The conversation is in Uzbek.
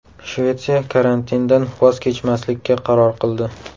Shvetsiya karantindan voz kechmaslikka qaror qildi.